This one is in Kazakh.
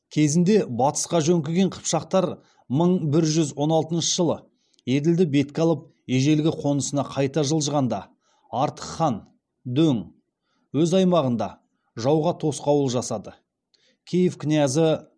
кезінде батысқа жөңкіген қыпшақтар мың бір жүз он алтыншы жылы еділді бетке алып ежелгі қонысына қайта жылжығанда артық хан дөң өз аймағында жауға тосқауыл жасады киев князі